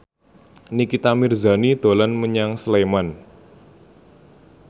Nikita Mirzani dolan menyang Sleman